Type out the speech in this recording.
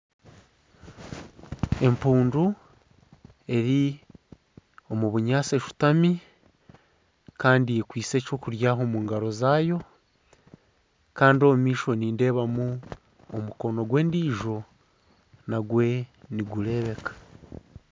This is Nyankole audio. Empundu eri omu bunyaatsi eshutami Kandi ekwaitse eky'okurya omu ngaro zaayo Kandi omu maisho nindeebamu omukono gw'endiijo nagwo nigureebeka.